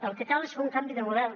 el que cal és fer un canvi de model